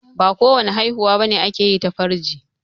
Ba ko wani haihuwa bane ake yi ta farji